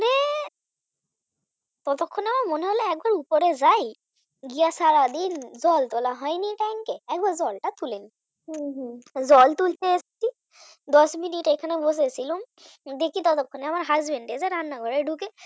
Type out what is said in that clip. কিনে এনে দিয়েছে ততক্ষণে মনে হল একবার উপরে যাই গিয়ে সারাদিন জল তোলা হয়নি Tank এ একবার জল তো তুলে দিই জল তুলতে এসেছি দশ মিনিট এখানে বসেছিলুম দেখি ততক্ষণে আমার Husband এসে রান্না করে ঢুকে